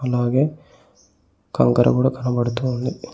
అలాగే కంకర కూడా కనపడుతూ వుంది.